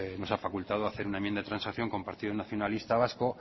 facultad de hacer una enmienda de transacción con el partido nacionalista vasco